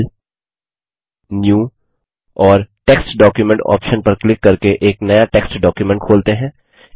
file new और text document option पर click करके एक नया टेक्स्ट डॉक्युमेंट खोलते हैं